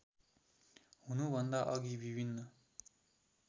हुनुभन्दा अघि विभिन्न